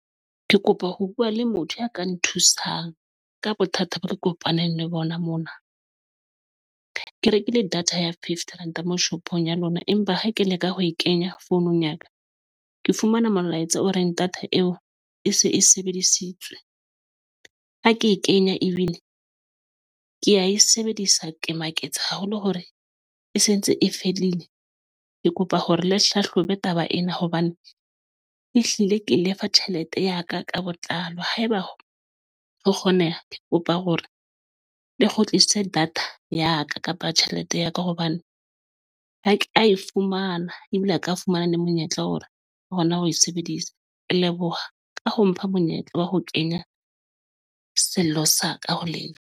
Ke kopa ho bua le motho a ka nthusang ka bothata ba ke kopaneng le bona mona ke rekile data ya fifty rand moo shopong ya lona, empa ha ke leka ho e kenya founung ya ka, ke fumana molaetsa o reng data eo e se e sebedisitswe ha ke e kenya, ebile ke ya e sebedisa ke maketse haholo hore e sentse e fedile. Ke kopa hore le hlahlobe taba ena hobane ehlile ke lefa tjhelete ya ka ka botlalo. Haeba re kgoneha, ke kopa hore ng le kgutlisitswe data ya ka kapa tjhelete ya ka hobane ha ke a e fumana ebile a ka fumana ne monyetla ona. Hona ho e sebedisa. E leboha ka ho mpha monyetla wa ho kenya sello sa ka ho lenna.